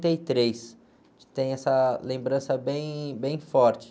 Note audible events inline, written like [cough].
trinta e três. [unintelligible] tem essa lembrança bem, bem forte.